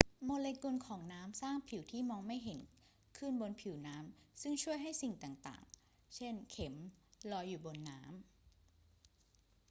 โมเลกุลของน้ำสร้างผิวที่มองไม่เห็นขึ้นบนผิวน้ำซึ่งช่วยให้สิ่งต่าง ๆ เช่น เข็ม ลอยอยู่บนน้ำ